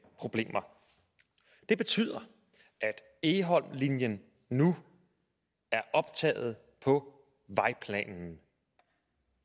problemer det betyder at egholmlinjen nu er optaget på vejplanen